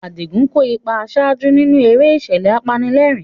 Adigun kó ipa àṣáájú nínú eré ìṣẹ̀lẹ̀ apanilẹ́rìn-ín.